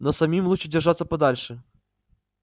но самим лучше держаться подальше